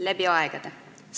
Läbi aegade!